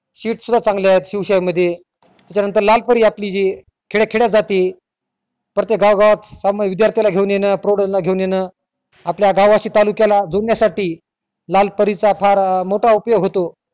sheet सुद्धा चांगली आहे शिवशाही मध्ये त्यांच्या नंतर लालपरी जी आपली खेड्या खेड्यात जाती प्रत्येक गावागावात विद्यार्थी ला घेऊन येणं पोरांना घेऊन येणं आपल्या गावाशी तालुक्याला जुळण्यासाठी लालपरीच चा फार अं मोठा उपयोग होतो